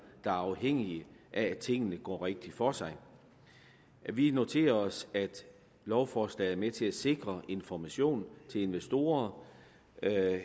er afhængige af at tingene går rigtigt for sig vi noterer os at lovforslaget er med til at sikre information til investorer